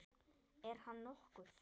Dæmi: Er hann nokkuð?